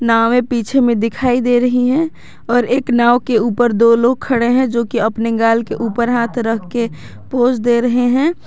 नावें पीछे में दिखाई दे रही हैं और एक नाव के ऊपर दो लोग खड़े हैं जो कि अपने गाल के ऊपर हाथ रख के पोज दे रहे हैं।